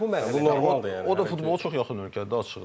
Biz hələ bu mərhələdə, o da futbolu çox yaxın ölkədir açıqda.